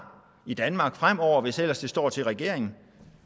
i danmark fremover hvis ellers det står til regeringen